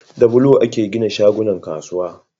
Da bulo ake gina wasu shagunnan kasuwa